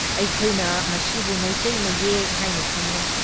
ꯑꯩꯈꯣꯏꯅ ꯃꯁꯤꯕꯨ ꯃꯤꯇꯩ ꯃꯌꯦꯛ ꯍꯩꯏꯅ ꯈꯪꯅꯩ ꯫